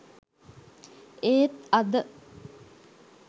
ඒත් අද